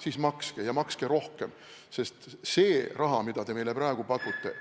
Siis makske, ja makske rohkem, sest see raha, mida te meile praegu pakute,